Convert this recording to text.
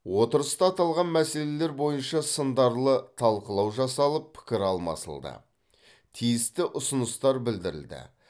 отырыста аталған мәселелер бойынша сындарлы талқылау жасалып пікір алмасылды тиісті ұсыныстар білдірілді